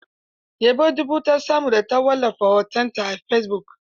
Yabo dubu ta samu da ta wallafa hotonta a fesibuk.